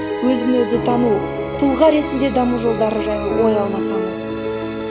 өзі өзі тану тұлға ретінде даму жолдары жайлы ой алмасамыз